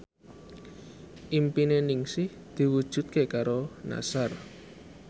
impine Ningsih diwujudke karo Nassar